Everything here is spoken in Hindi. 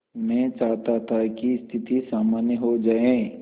मैं चाहता था कि स्थिति सामान्य हो जाए